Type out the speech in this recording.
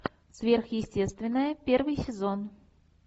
сверхъестественное первый сезон